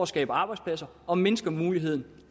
skabe arbejdspladser og mindsker muligheden